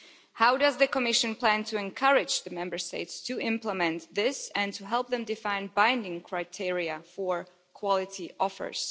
How does the Commission plan to encourage the Member States to implement this and to help them define binding criteria for quality offers?